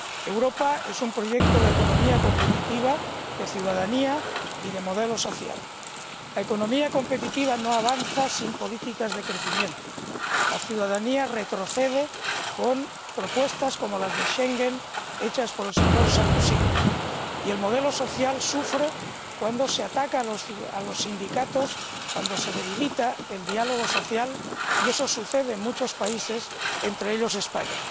Europa es un proyecto de economía competitiva, de ciudadanía y de modelo social. La economía competitiva no avanza sin políticas de crecimiento. La ciudadanía retrocede con propuestas como las relacionadas con Schengen —hechas por el señor Sarkozy—, y el modelo social sufre cuando se ataca a los sindicatos, cuando se debilita el diálogo social, y ello sucede en muchos países, entre ellos España.